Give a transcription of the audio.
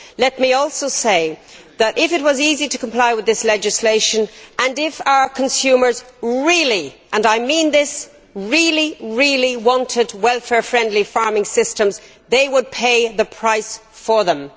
Let me also say that if it was easy to comply with this legislation and if our consumers really and I mean this really, really wanted welfare friendly framing systems, they would pay the price for them.